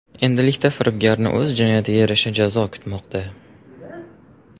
Endilikda firibgarni o‘z jinoyatiga yarasha jazo kutmoqda.